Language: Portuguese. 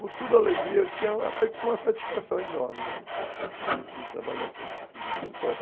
Com toda alegria, eu tinha uma satisfação enorme de trabalhar com juta.